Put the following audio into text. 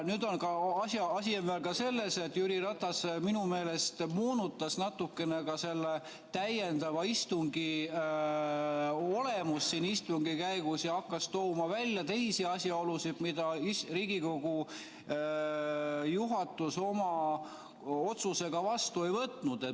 Nüüd on asi veel ka selles, et Jüri Ratas minu meelest moonutas natukene selle täiendava istungi olemust istungi käigus ja hakkas tooma välja teisi asjaolusid, mida Riigikogu juhatus oma otsusega arvesse ei võtnud.